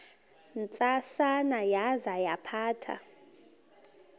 ntsasana yaza yaphatha